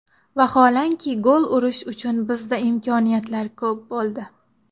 Vaholanki gol urish uchun bizda imkoniyatlar ko‘p bo‘ldi.